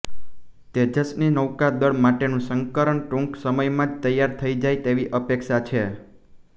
તેજસની નૌકા દળ માટેનું સંસ્કરણ ટૂંક સમયમાં જ તૈયાર થઇ જાય તેવી અપેક્ષા છે